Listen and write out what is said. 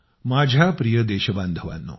माझ्या प्रिय देशबांधवांनो